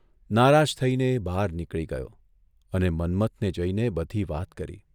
નારાજ થઇને એ બહાર નીકળી ગયો અને મન્મથને જઇને બધી વાત કરી.